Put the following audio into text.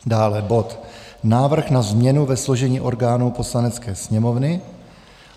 Dále bod Návrh na změnu ve složení orgánů Poslanecké sněmovny.